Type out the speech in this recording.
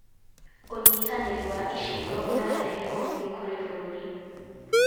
ũnyitanĩri wa icigo ũrarehe ũguni kũrĩ bũrũri.